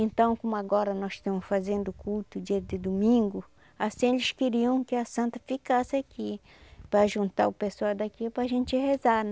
Então, como agora nós estamos fazendo o culto dia de domingo, assim eles queriam que a santa ficasse aqui, para juntar o pessoal daqui para a gente rezar